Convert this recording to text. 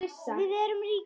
Við erum ríkar